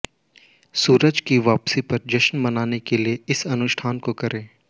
सूरज की वापसी का जश्न मनाने के लिए इस अनुष्ठान को करें